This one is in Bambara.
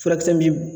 Furakisɛ min bɛ